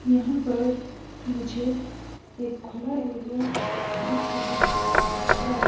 यहाँ पर मुझे एक खुला एरिया दिख रहा है।